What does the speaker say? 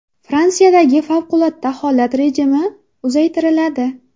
Fransiyadagi favqulodda holat rejimi uzaytiriladi.